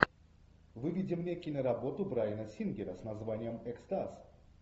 выведи мне киноработу брайана сингера с названием экстаз